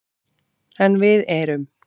En við erum